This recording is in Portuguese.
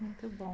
Muito bom.